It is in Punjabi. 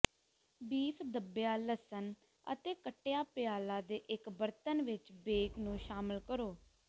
ਬੀਫ ਦੱਬਿਆ ਲਸਣ ਅਤੇ ਕੱਟਿਆ ਪਿਆਲਾ ਦੇ ਇੱਕ ਬਰਤਨ ਵਿੱਚ ਬੇਕ ਨੂੰ ਸ਼ਾਮਲ ਕਰੋ